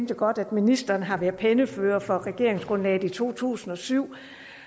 jo godt at ministeren har været pennefører for regeringsgrundlaget i to tusind og syv